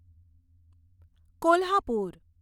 Kolhapur